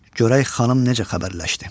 Görək xanım necə xəbərləşdi?